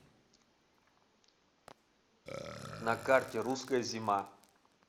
на карте русская зима